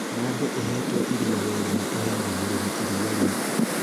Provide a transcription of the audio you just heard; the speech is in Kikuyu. Ng'ombe ĩhetwo irio wega nĩ ĩheaga mũrĩmi iria rĩingĩ.